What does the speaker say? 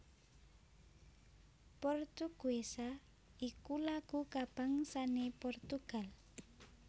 Portuguesa iku lagu kabangsané Portugal